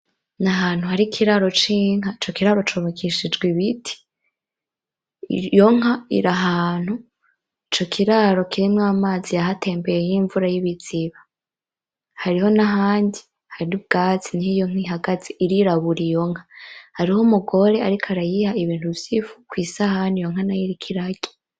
N'Ahantu hari Ikiraro c'Inka, Ico kiraro cubakishijwe Ibiti, iyo nka iri ahantu Ico kiraro kirimwo amazi yahetembeye y'imvura y'ibiziba, hariho n'ahandi hari ubwatsi niho iyo nka ihagaze irirabura iyo nka. hari Umugore ariko arayiha Ibintu vyifu iyo nka nayo iriko irarya.